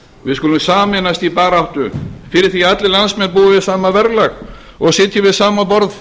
við skulum sameinast í baráttu fyrir því að allir landsmenn búi við sama verðlag og sitji við sama borð